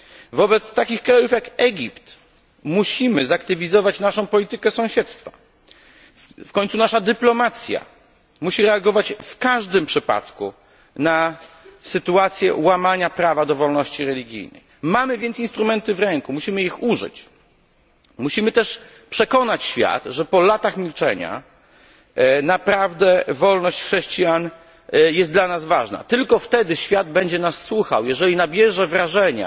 Wobec takich krajów jak Egipt musimy zaktywizować naszą politykę sąsiedztwa. W końcu nasza dyplomacja musi reagować w każdym przypadku na sytuację łamania prawa do wolności religijnej. Mamy więc instrumenty w ręku, musimy ich tylko użyć, musimy też przekonać świat, że po latach milczenia naprawdę wolność chrześcijan jest dla nas ważna. Tylko wtedy świat będzie nas słuchał, jeżeli nabierze wrażenia,